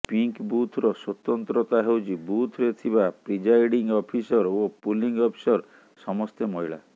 pink ବୁଥର ସ୍ୱତନ୍ତ୍ରତା ହେଉଛି ବୁଥରେ ଥିବା ପ୍ରିଜାଇଡିଙ୍ଗ ଅଫିସର ଓ ପୋଲିଙ୍ଗ ଅଫିସର ସମସ୍ତେ ମହିଳା